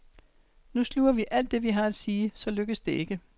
Nu sluger vi alt det, vi har at sige, så lykkes det ikke.